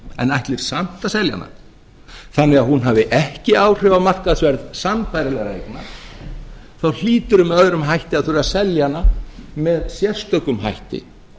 en ætlir samt að selja hana þannig að hún hafi ekki áhrif á markaðsverð sambærilegra eigna þá hlýturðu með öðrum hætti að þurfa að selja hana með sérstökum hætti